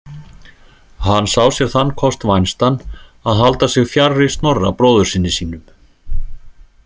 Hann sá sér þann kost vænstan að halda sig fjarri Snorra bróðursyni sínum.